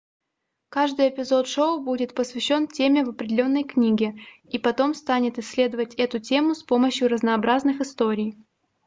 каждый эпизод шоу будет посвящен теме в определенной книге и потом станет исследовать эту тему с помощью разнообразных историй